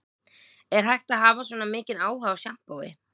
Er hægt að hafa svona mikinn áhuga á sjampói